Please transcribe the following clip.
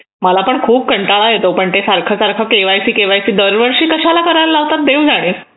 मला पण खूप कंटाळा येतो पण ते सारखं सारखं केवायसी केवायसी दरवर्षी कशाला करायला लावतात देव जाणे